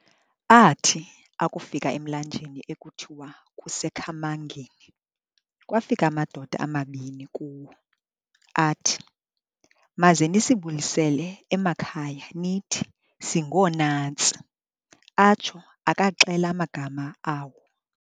Aathi akufika emlanjeni ekuthiwa kuseKhamangeni, kwafika amadoda amabini kuwo, athi, "Maze nisibulisele emakhaya nithi singoonantsi", atsho akaxela amagama awo.